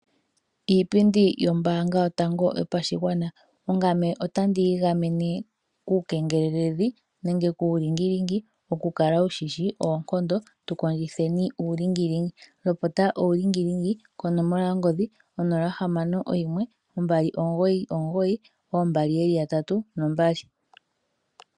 Iipindi yombanga yotango yopashigwana, ongame otandi igamene nenge kuulingilingi nenge kuulingi lingi okukala wu shishi oonkondo tukondjitheni uulingi lingi lopota uulingi lingi konomola yongodhi onola ohamano ombali omugoyi omugoyi oombali yeli yatatu nombali.